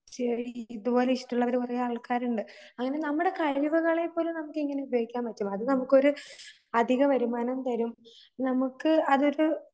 ശരി. ഇതുപോലെ ഇഷ്ടവൊള്ളവര് കുറേ ആൾക്കാരുണ്ട്. അങ്ങനെ നമ്മുടെ കഴിവുകളെ പോലും നമുക്കിങ്ങനെ ഉപയോഗിക്കാൻപറ്റും. അത് നമുക്കൊരു അധികവരുമാനം തരും. നമുക്ക് അതൊരു